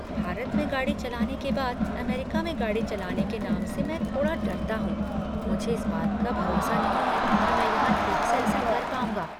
भारत में गाड़ी चलाने के बाद अमेरिका में गाड़ी चलाने के नाम से मैं थोड़ा डरता हूँ । मुझे इस बात का भरोसा नहीं है कि मैं यहाँ ठीक से ऐसा कर पाऊँगा।